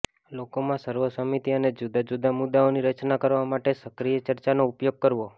લોકોમાં સર્વસંમતિ અને જુદા જુદા મુદ્દાઓની રચના કરવા માટે સક્રિય ચર્ચાનો ઉપયોગ કરવો